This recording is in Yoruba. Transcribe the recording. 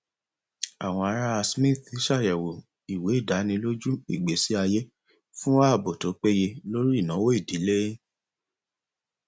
àwọn ará smith ṣàyẹwò ìwé ìdánilójú ìgbésí ayé fún ààbò tó péye lórí ìnáwó ìdílé